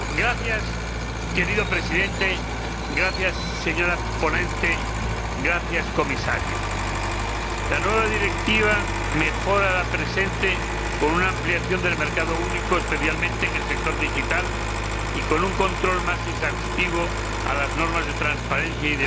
Señor Presidente, señora ponente, señor Comisario, la nueva Directiva mejora la vigente con una ampliación del mercado único, especialmente en el sector digital, y con un control más exhaustivo de las normas de transparencia y de los deberes y derechos